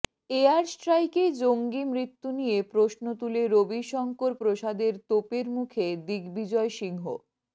air স্ট্রাইকে জঙ্গি মৃত্যু নিয়ে প্রশ্ন তুলে রবিশঙ্কর প্রসাদের তোপের মুখে দিগ্বিজয় সিংহ